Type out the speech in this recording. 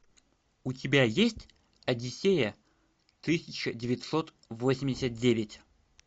у тебя есть одиссея тысяча девятьсот восемьдесят девять